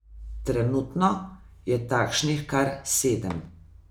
Trenutno je takšnih kar sedem.